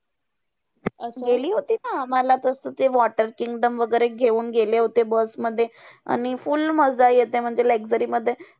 गेली होती ना! मला तसं ते वॉटर किंग्डम वैगरे घेऊन गेले होते bus मध्ये. आणि full मजा येते म्हणजे luxury मध्ये.